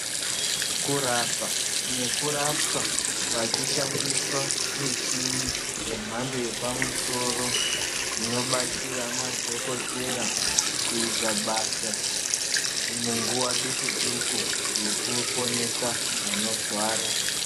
Kurapa nekurapwa pachishandiswa michini yemhando yepamusoro, inobatsira madhokotera kuita basa munguva duku-duku ,yekuponesa vanorwara.